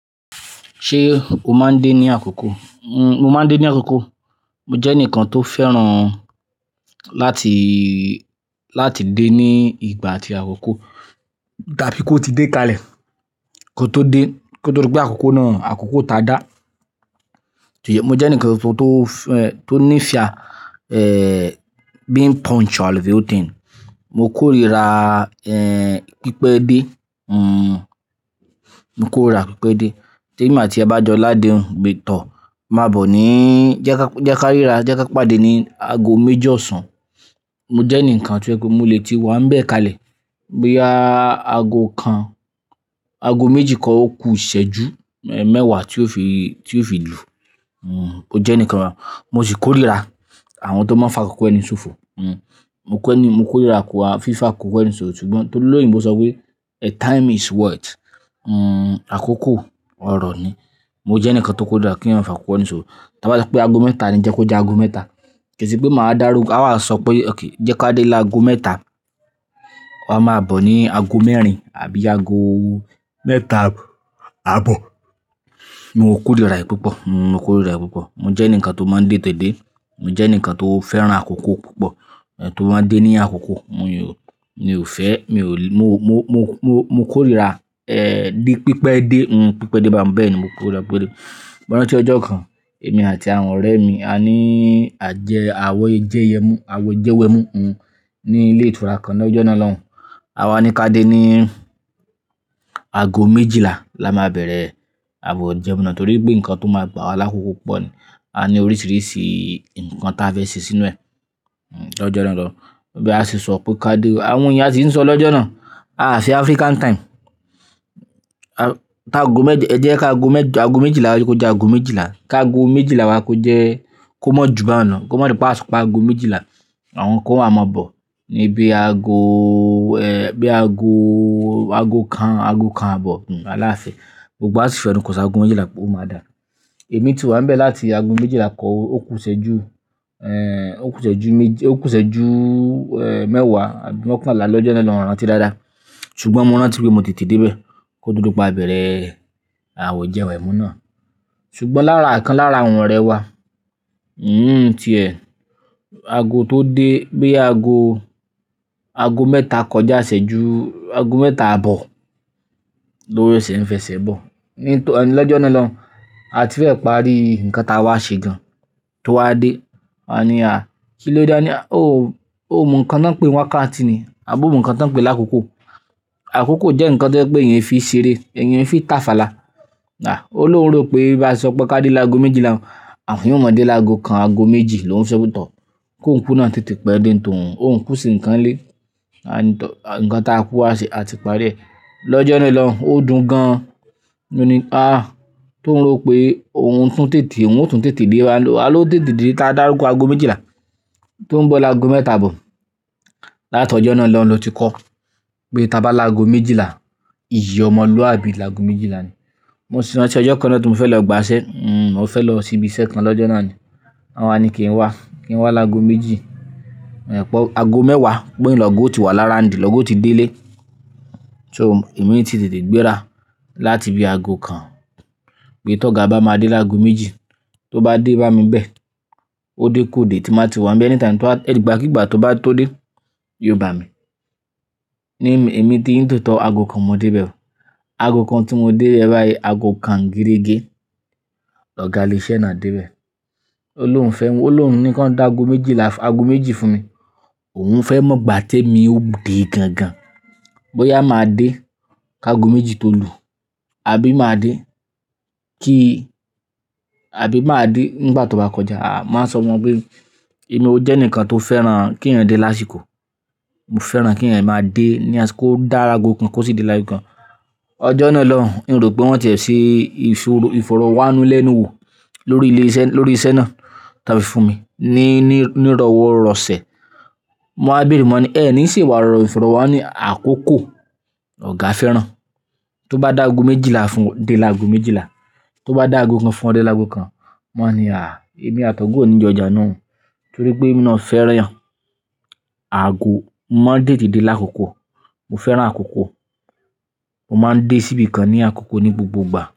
Ṣé o máa ń dé ní àkókò? Mo máa ń dé ní àkókò. Mo jẹ́ ẹnìkan tó fẹ́ràn láti, láti dé ní ìgbà àti àkókò. Tá bí kò ti dé kalẹ̀, kó tó dé, kó tó rí pé àkókò náà, àkókò ta dá. Mo jẹ́ ẹnìkan tó, tó, tó ní ìfẹ́, èh, being punctual with the whole thing Mo kórira, pípẹ́ dé, mo kórira pípẹ́ dé. Tí èmi àti ẹ bá jọ ládèhùn gbé tọ̀, máa bọ̀ níí, "Jẹ ka, jẹ ka ríra, jẹ ka pàdé ní aago méjì ọ̀sán." Mo jẹ́ ẹnìkan tí ó jẹ́'pé mo lè tí wàá ń bẹ̀ kalẹ̀. Bí aago kan, aago méjì kan ó ku ìṣẹ́ ju, ẹ́, mẹ́wàá tí ó fi, tí ó fi lù u. Mo jẹ́ ẹnìkan, mo sì kórira àwọn tó máa ń fa kókó ẹni ṣòfò. Mo kórira fíf'akókó ẹni ṣòfò. Sugbọn torí Olóyìnbò sọ pé the time is what? Àkókò ọrọ̀ ni. Mo jẹ́ ẹnìkan tó kórira kí ẹ̀yin má fa kókó ẹni ṣòfò. Tí a bá sọ pé aago mẹ́ta ni, jẹ kó jẹ́ aago mẹ́ta. Kì í ṣe pé màá dá rú, a á máa sọ pé, "Okay, jẹ ka dé lá aago mẹ́ta." Wàá máa bọ̀ ní aago mẹ́rin àbí aago mẹ́ta àbọ̀. Mo kórira ẹ̀ pípọ̀, mo kórira ẹ̀ pípọ̀. Mo jẹ́ ẹnìkan tó máa ń tètè dẹ́. Mo jẹ́ ẹnìkan tó fẹ́ràn àkókò púpọ̀. Ẹ̀ tó máa ń dé ní àkókò, mo yó, mi ò fẹ́, mi ò le, mo, mo, mo, mo, mo kórira, ẹ́, dí, pípẹ́ dé, mm, pípẹ́ dé bá n bẹ́ẹ̀ ni, mo kórira pípẹ́ dé. Mo rántí ọjọ́ kan, èmi àti àwọn ọ̀rẹ́ mi a ní àjẹ́, àwọ̀ jẹ́yẹ́ mú, àwẹ̀jẹwẹ̀mu, ní ilé ìtura kan lọ́jọ́ náà lọ́hun. A wá ní ká dé ní aago méjìlá la máa bẹ̀rẹ̀ àwẹ̀jẹwẹ̀mu náà torí pé nǹkan tó máa gbà wa lákòókò púpọ̀ ni. A ní oríṣiríṣi nǹkan táa fẹ́ sè sínú ẹ lọ́jọ́ náà lọ́hun. Bí a ṣe sọ pé ká dé, àwọn ènìyàn tí ń sọ lọ́jọ́ náà, "Aá ṣe African time." A, ká aago mẹ́ẹ́dẹ́, ẹ jẹ́ ká aago mẹ́ẹ́d, aago méjìlá, ẹ jẹ́ kó jẹ́ aago méjìlá. Ka aago méjìlá wa kó jẹ́, kó mọ́ jù bá wọn ná. Kó mọ́ nípa àsopọ̀ aago méjìlá. Àwọn kan wá máa bọ̀ níbí aago, ẹ́, bí aago, aago kan, aago kan àbọ̀ wallahi. Gbogbo wa sì fẹnukò sí aago méjìlá pé ó máa dà. Èmi tì wá ń bẹ̀ láti aago méjìlá kọ́ ó ku ìṣẹ́ ju, ẹ́, ó ku ìṣẹ́ ju méjì, ó ku ìṣẹ́ ju, ẹ́, mẹ́wàá, àbí mọ́kànlá lọ́jọ́ náà lọ́hun mi ò rántí dáadáa. Sugbọn mo rántí pé mo tètè dé bẹ́ẹ̀ kó tó di pé a bẹ̀rẹ̀ àwẹ̀jẹwẹ̀mu náà. Sugbọn lára'kan lára àwọn ọ̀rẹ́ wa, ìyún-un tiẹ̀. Aago tó dé bí i aago, aago mẹ́ta kọjá ìṣẹ́ ju aago mẹ́ta àbọ̀ lór sẹ̀ ń fẹsẹ̀ bọ̀. Ní tò, lọ́jọ́ náà lọ́hun, a ti fẹ́ parí nǹkan táa wá ṣe jọ. Tó wá dé, a ní à, "Kí ló dé?" A ní, "Oò, oò, mọ nǹkan tán pé ní wákàtí ti ni. Àb'omọ nǹkan tan pé lákòókò. Àkókò jẹ́ nǹkan tó pé èèyàn fi ń ṣeré, èèyàn fi ń tàfàlà" À, ó lóhùn rò pé bí a ṣe sọ pé ká dé l'áago méjìlá, àfi òun ó mọ dé l'áago kan, aago méjì lò n ṣe sọ pé tọọ̀. Kó n kú náà tètè pẹ́ dé ní t'òun. P'óùn kú ṣe nǹkan lé. A ní tọ̀, nǹkan táa kú wá ṣe, a ti parí rẹ̀. Lọ́jọ́ náà lọ́hun, ó dùn gan. Ó ní, "Ah." Tó ń ro pé òun tún tètè, òun ó tètè dé. A lo, a ló tètè dé. Ta dàrúgbò aago méjìlá tó ń bọ̀ lá aago mẹ́ta àbọ̀. Láti ọjọ́ náà lọ́hun ló ti kọ́ pé tí a bá aago méjìlá, ìyì ọmọlúwàbí l'aago méjìlá ni. Mo sì rántí ọjọ́ kan náà tí mo fẹ́ lọ gbà ẹsẹ́. Mm, mo fẹ́ lọ síbí iṣẹ́ kan lọ́jọ́ náà ni. Wọ́n wá ní kí n wá, kí n wá lá aago méjì. Ẹ̀ pọ̀, aago mẹ́wàá, gbóhun l'ọ̀gá ó ti wà l'around l'ọ̀gá ó ti dé ilé. So èmi ti tètè gbéra láti bí i aago kan. Pé t'ọ́ga bá máa dé lá aago méjì. Tó bá dé bá mi bẹ́ẹ̀, ó dé kó dé tí màá ti wá ń bẹ́ẹ̀. Anytime, ìgbà kí ìgbà tó bá tó dé, yóò bà mí. Èmi ní tòótọ́ aago kan mo dé bẹ́ẹ̀. Aago kan tí mo dé bẹ́ẹ́ báyìí, aago kan gérégé l'ọ̀ga ilèe'ṣẹ́ náà dé bẹ́ẹ̀. Ó ló ń fẹ́, ó ló ń ní kí wọ́n dá aago méjìlá, aago méjì fún mi. Òun fẹ́ mọ̀ gbà tí èmi ó dé gan gan. Bóyá màá dé ká aago méjì tó lù, àbí màá dé kí, àbí màá dé nígbà tó bá kọjá. A, màá sọ wọ́n pé, "Èmi ó jẹ́ ẹnìkan tó fẹ́ràn k'éèyàn dé lásìkò. Mo fẹ́ràn kí èèyàn máa dé ní àsìkò. Kó dá aago kan kó sì dé l'áago kan." Ọjọ́ náà lọ́hun, n ò rò pé wọ́n tẹ̀ ṣe ìfọ̀rọ̀wánú lẹ́nu wò lórí ilé iṣẹ́, lórí iṣẹ́ náà tán fi fún mi ní, ní, ní ìrọwọ́ ìrọsẹ̀. Mo wá bẹ̀rẹ̀ wọ́n ní, "Ẹ̀ ní ì ṣe ìfọ̀rọ̀wá, wọ́n ní àkókò l'ọ̀gá fẹ́ràn. Tó bá dá aago méjìlá fún, dé l'áago méjìlá. Tó bá dá aago kan fún, dé l'áago kan." Wọ́n ní, "À, èmi àt'ọ̀gá ò ní jọ jà nu" Torí pé èmi náà fẹ́ràn èèyàn aago mọ́ máa ń tètè dé l'ákòókò. Mo fẹ́ràn àkókò. Mo máa ń dé síbí kan ní àkókò ní gbogbo ìgbà.